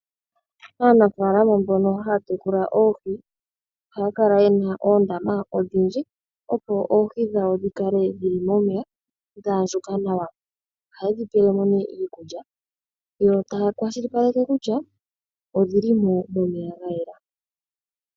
Aanafaalama mbono haya tekula oohi ohaya kala ye na oondama odhindji, opo oohi dhawo dhi kale dhi li momeya dha andjuka nawa. Ohaye dhi pele mo nee iikulya yo taya kwashilipaleke kutya odhi li momeya ga yela.